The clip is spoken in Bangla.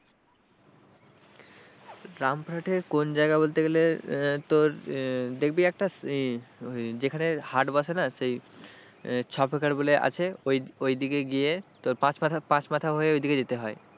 রামপুরহাটের কোন জায়গা বলতে গেলে তোর দেখবি একটা যেখানে হাট বসে না সেই ছপকর বলে আছে ওইদিকে গিয়ে তোর পাঁচ মাথা পাঁচ মাথা হয়ে ওই দিকে যেতে হয়।